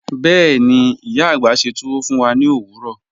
Bẹ́ẹ̀ni, iya agbá sẹ́ túwọ́ fún wà ní ọ̀wọ̀rọ̀.